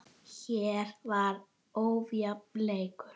Hér var ójafn leikur.